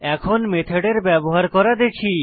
এখন মেথডের ব্যবহার করা দেখি